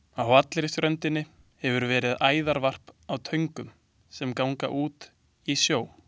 Á allri ströndinni hefur verið æðarvarp á töngum, sem ganga út í sjó.